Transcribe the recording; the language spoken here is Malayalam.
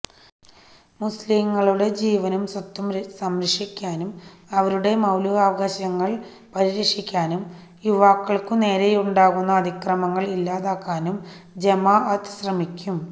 മുസ്ലിംകളുടെ ജീവനും സ്വത്തും സംരക്ഷിക്കാനും അവരുടെ മൌലികാവകാശങ്ങള് പരിരക്ഷിക്കാനും യുവാക്കള്ക്കുനേരെയുണ്ടാകുന്ന അതിക്രമങ്ങള് ഇല്ലാതാക്കാനും ജമാഅത്ത് ശ്രമിക്കും